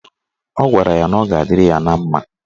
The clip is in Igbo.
Ọ gwara ya na ọ ga-adịrị ya na mma.